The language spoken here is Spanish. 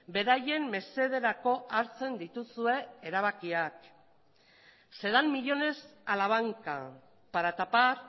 beraien mesederako hartzen dituzue erabakiak se dan millónes a la banca para tapar